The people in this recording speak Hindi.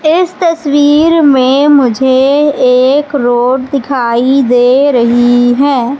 इस तस्वीर में मुझे एक रोड दिखाई दे रही है।